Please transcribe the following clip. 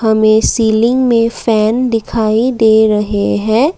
हमें सीलिंग में फैन दिखाई दे रहे हैं।